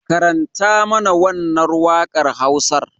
Karanta mana wannan wakar Hausar.